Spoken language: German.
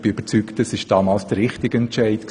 Ich bin überzeugt, es war der richtige Entscheid.